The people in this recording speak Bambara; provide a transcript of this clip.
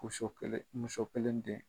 kelen muso kelen den.